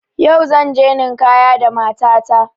Yau zanje ninkaya da mata ta